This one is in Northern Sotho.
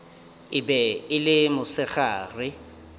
e be e le mosegare